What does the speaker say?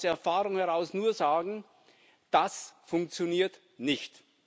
Ich kann aus Erfahrung heraus nur sagen Das funktioniert nicht.